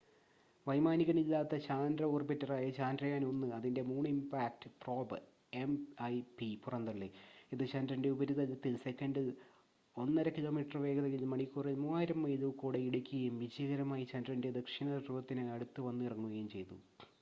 വൈമാനികനില്ലാത്ത ചാന്ദ്ര ഓർബിറ്ററായ ചന്ദ്രയാൻ- 1 അതിന്റെ മൂൺ ഇമ്പാക്ട് പ്രോബ് എംഐപി പുറന്തള്ളി ഇത് ചന്ദ്രന്റെ ഉപരിതലത്തിൽ സെക്കൻഡിൽ 1.5 കിലോമീറ്റർ വേഗതയിൽ മണിക്കൂറിൽ 3000 മൈൽ ഊക്കോടെ ഇടിക്കുകയും വിജയകരമായി ചന്ദ്രന്റെ ദക്ഷിണ ധ്രുവത്തിന് അടുത്ത് വന്നിറങ്ങുകയും ചെയ്തു